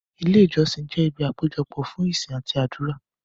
Ilé Ìjọ jẹ ibi ìpéjọpọ̀ fún ìsìn àti àdúrà.